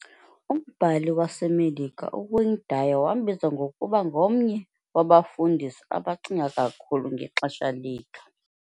Umbhali waseMelika uWayne Dyer wambiza ngokuba "ngomnye wabafundisi abacinga kakhulu ngexesha lethu."